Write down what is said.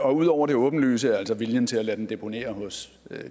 og ud over det åbenlyse altså viljen til at lade den deponere hos